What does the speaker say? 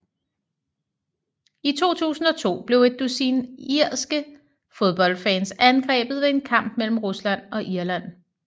I 2002 blev et dusin irske fodboldfans angrebet ved en kamp mellem Rusland og Irland